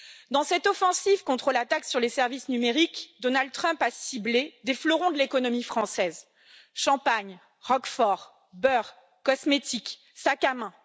Dans cette offensive contre la taxe sur les services numériques, Donald Trump a ciblé des fleurons de l'économie française champagne, roquefort, beurre, cosmétiques, sacs à main.